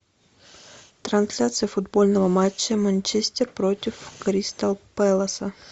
трансляция футбольного матча манчестер против кристал пэласа